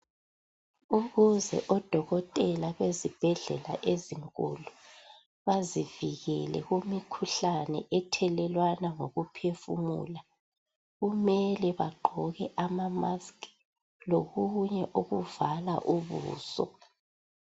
Ukuze odokotela bezibhedlela ezinkulu bazivikele kumikhuhlane ethelelwana ngokuphefumula kumele bagqoke ama"mask" lokunye okuvala ubuso.